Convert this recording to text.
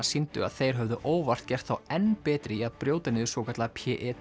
sýndu að þeir höfðu óvart gert þá enn betri í að brjóta niður svokallað